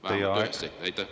Teie aeg!